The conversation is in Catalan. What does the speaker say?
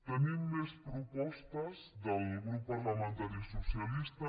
tenim més propostes del grup parlamentari socialista